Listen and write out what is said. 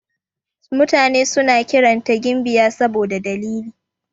Mutane suna kiranta gimbiya saboda dalili.